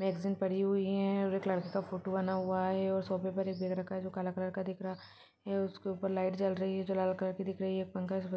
Magazine पड़ी हुई है और एक लड़के का फोटो बना हुआ है और सौफे पर एक बेग रखा है जो काले कलर का दिख रहा है उसके ऊपर लाइट जल रही है जो लाल कलर की दिख रही है। पंखा--